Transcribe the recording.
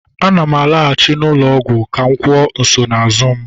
Ana m alaghachi ụlọ ọgwụ ka m kwuo nsonaazụ m.